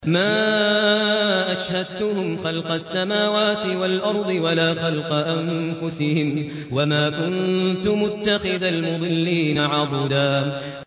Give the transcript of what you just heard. ۞ مَّا أَشْهَدتُّهُمْ خَلْقَ السَّمَاوَاتِ وَالْأَرْضِ وَلَا خَلْقَ أَنفُسِهِمْ وَمَا كُنتُ مُتَّخِذَ الْمُضِلِّينَ عَضُدًا